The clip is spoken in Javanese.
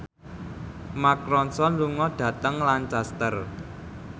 Mark Ronson lunga dhateng Lancaster